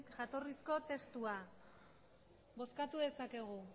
jatorrizko testua bozkatu dezakegu